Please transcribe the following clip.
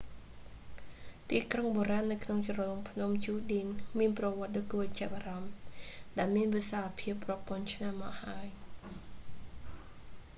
ទីក្រុងបុរាណនៅក្នុងជ្រលងភ្នំ ជូឌីន មានប្រវត្តដ៏គួរឱ្យចាប់អារម្មណ៍ ដែលមានវិសាលភាពរាប់ពាន់ឆ្នាំមកហើយ